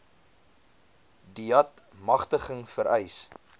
deat magtiging vereis